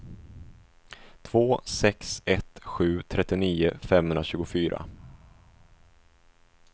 två sex ett sju trettionio femhundratjugofyra